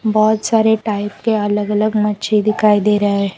बहोत सारे टाइप के अलग अलग मच्छि दिखाई दे रहे है।